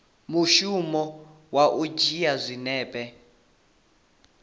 mushumo wa u dzhia zwinepe